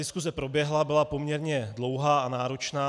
Diskuse proběhla, byla poměrně dlouhá a náročná.